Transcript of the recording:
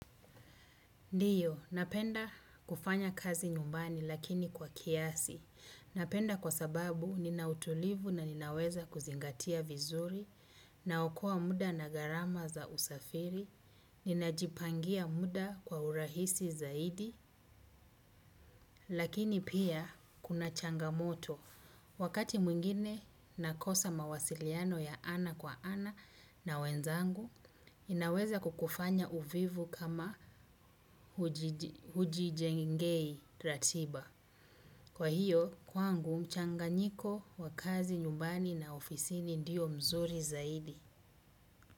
Ndio, napenda kufanya kazi nyumbani lakini kwa kiasi. Napenda kwa sababu nina utulivu na ninaweza kuzingatia vizuri, naokoa muda na gharama za usafiri, ninajipangia muda kwa urahisi zaidi lakini pia kuna changamoto. Wakati mwingine nakosa mawasiliano ya ana kwa ana na wenzangu, inaweza kukufanya uvivu kama hujijengei ratiba. Kwa hiyo, kwangu mchanganyiko wa kazi nyumbani na ofisini ndio mzuri zaidi.